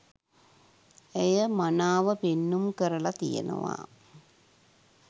ඇය මනාව පෙන්නුම් කරලා තියෙනවා